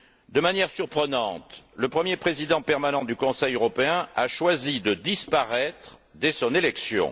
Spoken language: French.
De manière surprenante, le premier président permanent du Conseil européen a choisi de disparaître dès son élection.